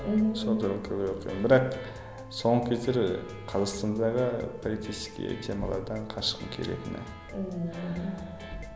мхм сол туралы көбірек оқимын бірақ соңғы кездері қазақстандағы политический темалардан қашқым келетіні ммм мхм